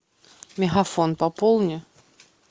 мегафон пополни